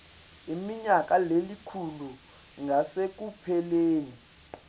iminyaka lelikhulu ngasekupheleni